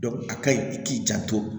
a ka ɲi i k'i janto